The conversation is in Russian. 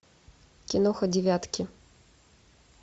киноха девятки